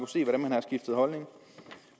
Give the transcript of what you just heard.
se hvordan man har skiftet holdning